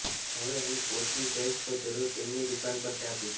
હવે હું કોચ્ચી જઈશ તો જરૂરથી તેમની દુકાન પર ચા પીશ